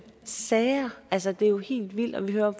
sager altså det er jo helt vildt og vi hører jo